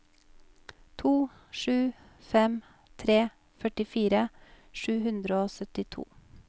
to sju fem tre førtifire sju hundre og syttito